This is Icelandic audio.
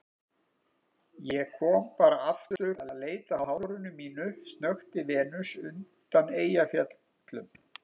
Ég kom bara aftur að leita að hárinu mínu, snökti Venus undan Eyjafjöllum.